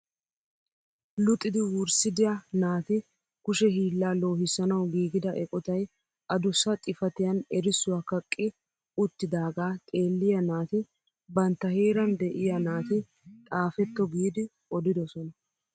Luxxidi wurssidia naata kushe hiillaa loohissanawu giigida eqotay adussa xifatiyaan erissuwaa kaqqi uttidagaa xeelliyaa naati bantta heeran de'iyaa naati xaafetto giidi odidosona.